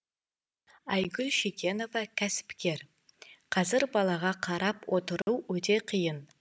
айгүл шекенова кәсіпкер қазір балаға қарап отыру өте қиын